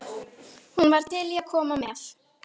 Hún var til í að koma með.